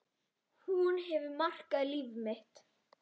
Hún hefur markað líf mitt.